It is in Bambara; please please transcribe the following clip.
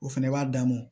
O fɛnɛ b'a damɔ